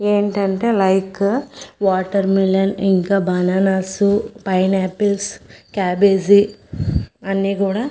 ఏటంటే like watermelon ఇంకా bananas pineapples cabbage అన్నీ గూడ--